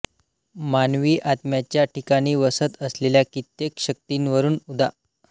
मानवी आत्म्याच्या ठिकाणी वसत असलेल्या कित्येक शक्तींवरून उदा